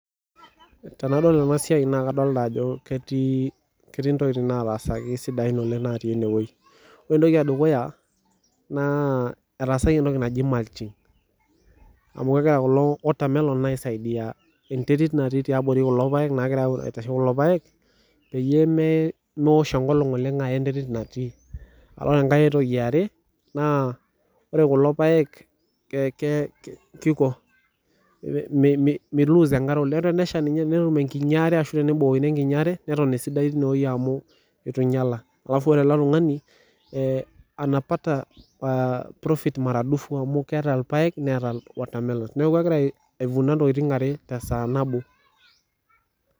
Tenadol ena siai naa kadol Ajo ketii ntokitin sidain natasaka tenewueji ore entoki edukuya naa etaasaki entoki naaji mulching amu kegira kulo watermelon aisaidia enterit natii tiabori kulo paek peeyie meosho enkolog oleng Aya enterit natii ore enkae eyiolo kulo paek miloose enkare teneshaa ninye pee etum enkiti are neton esidai amu minyiaya naa ore ele tung'ani anapata profit mara dufu amu keeta irpaek netaa watermelon neeku egira aifuna ntokitin are tee saa nabo